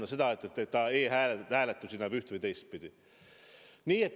Mis sellest, et ta e-hääletust hindab üht- või teistpidi.